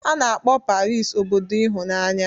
A na-akpọ Paris obodo ịhụnanya